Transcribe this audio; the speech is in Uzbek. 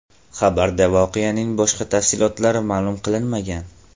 Xabarda voqeaning boshqa tafsilotlari ma’lum qilinmagan.